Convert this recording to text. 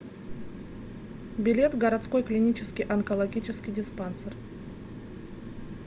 билет городской клинический онкологический диспансер